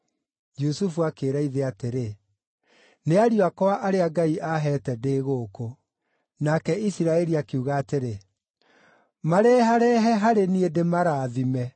Jusufu akĩĩra ithe atĩrĩ, “Nĩ ariũ akwa arĩa Ngai aaheete ndĩ gũkũ”. Nake Isiraeli akiuga atĩrĩ, “Mareharehe harĩ niĩ ndĩmarathime.”